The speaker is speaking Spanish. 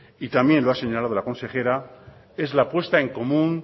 y también lo ha señalado la consejera es la puesta en común